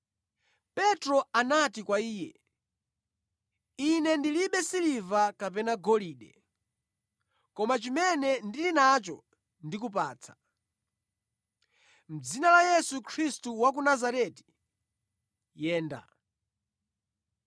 Petro anati kwa iye, “Ine ndilibe siliva kapena golide, koma chimene ndili nacho ndikupatsa. Mʼdzina la Yesu Khristu wa ku Nazareti, yenda.”